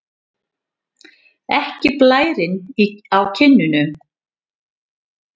Ekki blærinn á kinnunum.